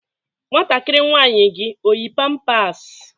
Nwantakịrị nwaanyị gị o yi pampas?